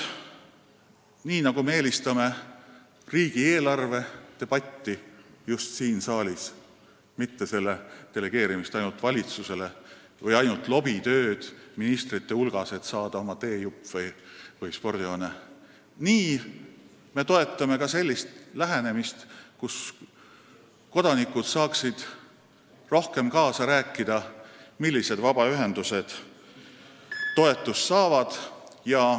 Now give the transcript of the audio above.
Nii nagu me eelistame riigieelarve debatti siin saalis, mitte ainult valitsusele delegeerimist või lobitööd ministrite hulgas, et oma teejupp või spordihoone saada, toetab Vabaerakond ka sellist lähenemist, kus kodanikel oleks võimalik rohkem kaasa rääkida, millised vabaühendused toetust saavad.